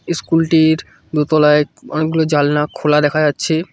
School -টির দোতলায় অনেকগুলো জালনা খোলা দেখা যাচ্ছে।